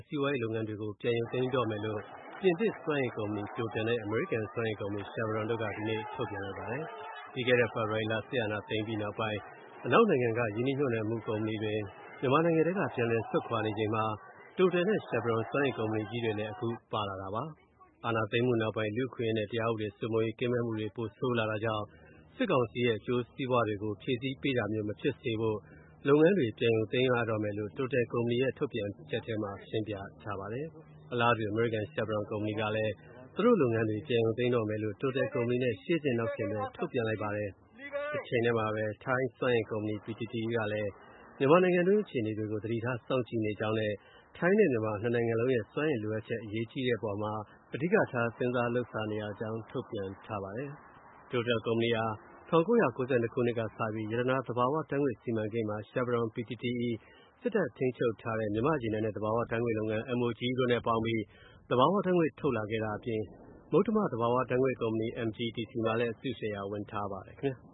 စီးပွားရေးလုပ်ငန်းတွေကို ပြန်ရုပ်သိမ်းမယ့်အကြောင်း ပြင်သစ် စွမ်းအင်ကုမ္ပဏီ TOTAL နဲ့ အမေရိကန် စွမ်းအင်ကုမ္ပဏီ Chevron တို့က ဒီကနေ့ အသီးသီး ထုတ်ပြန်ကြေညာပါတယ်။ ပြီးခဲ့တဲ့နှစ် ဖေဖော်ဝါရီလ စစ်တပ်အာဏာသိမ်းပြီးနောက်ပိုင်း အနောက်နိုင်ငံတွေက ရင်းနှီးမြှုပ်နှံမှုကုမ္ပဏီတွေ မြန်မာနိုင်ငံတွင်း က ထွက်ခွာနေကြတာမှာ TOTAL နဲ့ Chevron စွမ်းအင်ကုမ္ပဏီကြီးတွေလည်း ပါလာတာပါ။ အာဏာသိမ်းမှုနောက်ပိုင်း လူ့အခွင့်အရေးနဲ့ တရားဥပဒေစိုးမိုးရေး ကင်းမဲ့လာတဲ့အခြေအနေက ပိုဆိုးလာတာကြောင့် ကုမ္ပဏီ အနေနဲ့ အခြေအနေကို ပြန်လည်သုံးသပ်ပြီး စစ်ကောင်စီရဲ့ အကျိုးစီးပွားတွေကို ဖြည့်ဆည်းပေးတာမျိုး မဖြစ်စေဖို့ စီးပွားရေး လုပ်ငန်းတွေကို ပြန်လည်ရုပ်သိမ်းမှာဖြစ်တယ်လို့ TOTAL ကုမ္ပဏီရဲ့ ထုတ်ပြန်ချက်ထဲမှာ ဖော်ပြထားပါတယ်။ အလားတူ အမေရိကန် Chevron ကုမ္ပဏီကလည်း သူတို့လုပ်ငန်းတွေ ပြန်ရုပ်သိမ်းမယ့်အကြောင်း TOTAL ကုမ္ပဏီနဲ့ ရှေ့ဆင့် နောက်ဆင့်ဆိုသလို ထုတ်ပြန်ပါတယ်။ တချိန်တည်းမှာပဲ ထိုင်း စွမ်းအင်ကုမ္ပဏီ PTTEP ကလည်း မြန်မာနိုင်ငံတွင်း အခြေအနေတွေကို သတိထား စောင့်ကြည့်နေတဲ့အကြောင်းနဲ့ ထိုင်းနဲ့မြန်မာ နှစ်နိုင်ငံစလုံးရဲ့ စွမ်းအင်လိုအပ်ချက် အရေးကြီးတဲ့ အပေါ်မှာ အဓိက စဉ်းစားလုပ်ဆောင်နေတဲ့အကြောင်း ကြေညာချက်ထုတ်ပါတယ်။ TOTAL ကုမ္ပဏီဟာ ၁၉၉၂ ခုနှစ်ကစလို့ မြန်မာနိုင်ငံတွင်း ရတနာ သဘာဝဓာတ်ငွေ့စီမံကိန်းမှာ အမေရိကန် Chevron ၊ ထိုင်း PTTEP ၊ စစ်တပ်ထိန်းချုပ်တဲ့ မြန်မာ့ရေနံနဲ့ သဘာဝဓာတ်ငွေ့လုပ်ငန်း MOGE တို့နဲ့ အတူပူးပေါင်းပြီး သဘာဝဓာတ်ငွေ့ ထုတ်လုပ်တဲ့လုပ်ငန်းတွေမှာ ပါဝင် လုပ်ဆောင်နေတဲ့အပြင် မုတ္တမ သဘာဝဓာတ်ငွေ့ကုမ္ပဏီ MGTC မှာလည်း အစုရှယ်ယာဝင် ထားတာဖြစ်ပါတယ်။